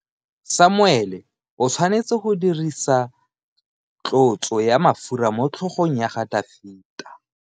Samuele o tshwanetse go dirisa tlotso ya mafura motlhogong ya Dafita.